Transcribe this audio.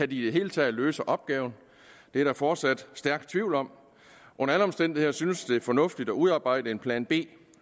de i det hele taget løse opgaven det er der fortsat stærk tvivl om under alle omstændigheder synes det fornuftigt at udarbejde en plan b